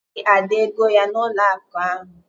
A naghị Ada ego ya n'ụlọakụ ahụ